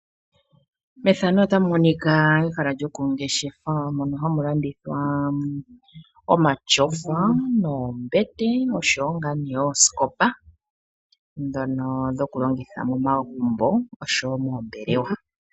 Omatyofa, oombete noosikopa ohadhi longithwa moombelelwa nomomagumbo.